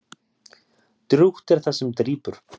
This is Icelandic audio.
Drjúgt er það sem drýpur.